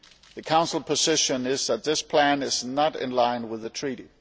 The Council position is that this plan is not in line with the Treaty.